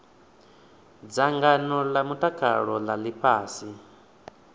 dzangano a mutakalo a ifhasi